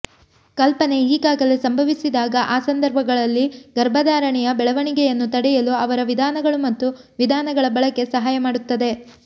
ಕಲ್ಪನೆ ಈಗಾಗಲೇ ಸಂಭವಿಸಿದಾಗ ಆ ಸಂದರ್ಭಗಳಲ್ಲಿ ಗರ್ಭಧಾರಣೆಯ ಬೆಳವಣಿಗೆಯನ್ನು ತಡೆಯಲು ಅವರ ವಿಧಾನಗಳು ಮತ್ತು ವಿಧಾನಗಳ ಬಳಕೆ ಸಹಾಯ ಮಾಡುತ್ತದೆ